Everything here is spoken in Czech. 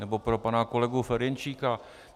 Nebo pro pana kolegu Ferjenčíka.